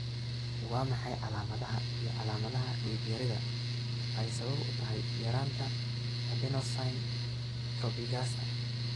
Waa maxay calaamadaha iyo calaamadaha Dhiig-yarida ay sabab u tahay yaraanta Adenosine trobigasa